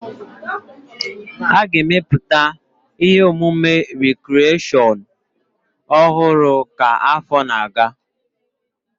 A ga-emepụta ihe omume rikreshọn ọhụrụ ka afọ na-aga